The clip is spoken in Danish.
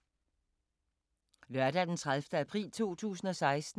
Lørdag d. 30. april 2016